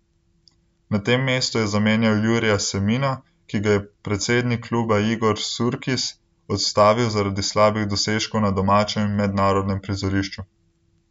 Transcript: Na tem mestu je zamenjal Jurija Semina, ki ga je predsednik kluba Igor Surkis odstavil zaradi slabih dosežkov na domačem in mednarodnem prizorišču.